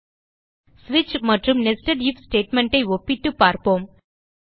ஸ்விட்ச் மற்றும் nested if statementஐ ஒப்பிட்டுப் பார்ப்போம்